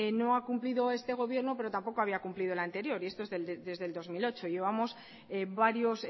no ha cumplido este gobierno pero tampoco había cumplido el anterior y esto es desde el dos mil ocho llevamos varios